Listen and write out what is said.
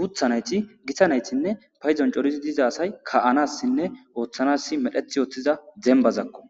guthanayti gitanaytinne payzon corizi diza asay ka7anassinne ooththanas medheth ooththiza dembazakko